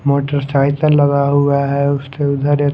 motorcycle लगा हुआ है उसके उधर ये--